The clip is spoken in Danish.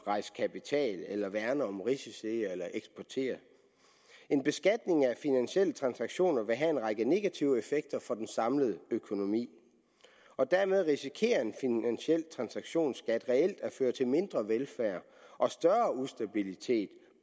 rejse kapital værne om risici eller eksportere en beskatning af finansielle transaktioner vil have en række negative effekter for den samlede økonomi og dermed risikerer en finansiel transaktions skat reelt at føre til mindre velfærd og større ustabilitet